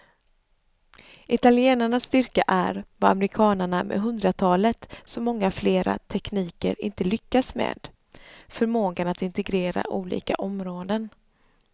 Italienarnas styrka är, vad amerikanarna med hundratalet så många flera tekniker inte lyckas med, förmågan att integrera olika områden.